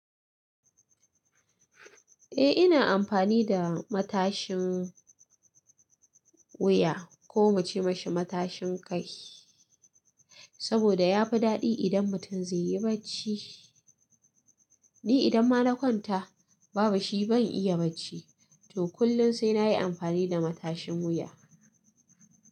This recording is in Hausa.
Eh ina amfani da matashin wuya ko muce mashi matashin kai, saboda yafi daɗi idan mutum zaiyi bacci. Ni idan ma kwanta babu shi ban iya bacci, to kullum sai nayi amfani da matashin wuya.